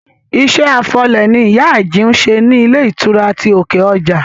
Iṣẹ́ afọ ilẹ̀ ni ìyá Àjìún ń ṣe ní ilé ìtura ti òkè ọjà